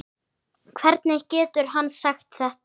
Hvernig getur hann sagt þetta?